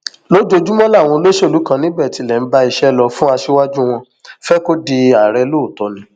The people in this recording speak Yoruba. lójoojúmọ làwọn olóṣèlú kan níbẹ tilẹ ń bá iṣẹ lọ fún aṣíwájú wọn fẹ kó di ààrẹ lóòótọ ni